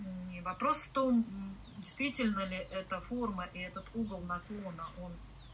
и вопрос в том действительно ли эта форма и этот угол наклона он